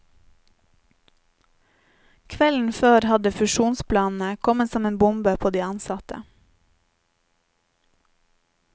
Kvelden før hadde fusjonsplanene kommet som en bombe på de ansatte.